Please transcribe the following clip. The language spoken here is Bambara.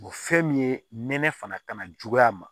fɛn min ye nɛnɛ fana ka na juguya ma